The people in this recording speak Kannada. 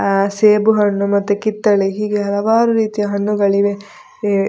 ಆ ಸೇಬು ಹಣ್ಣು ಮತ್ತೆ ಕಿತ್ತಲೆ ಹೀಗೆ ಹಲವಾರು ರೀತಿಯ ಹಣ್ಣುಗಳಿವೆ --